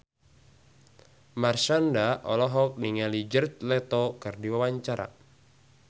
Marshanda olohok ningali Jared Leto keur diwawancara